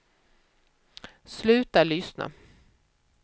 sluta lyssna